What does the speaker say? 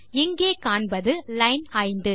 இங்கே காண்பது லைன் 5